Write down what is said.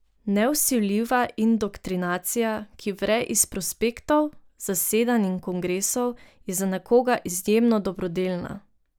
Nevsiljiva indoktrinacija, ki vre iz prospektov, zasedanj in kongresov, je za nekoga izjemno dobrodelna.